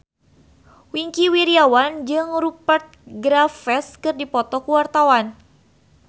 Wingky Wiryawan jeung Rupert Graves keur dipoto ku wartawan